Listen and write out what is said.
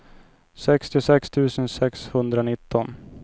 sextiosex tusen sexhundranitton